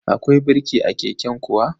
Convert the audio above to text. Akwai birki a keken kuwa?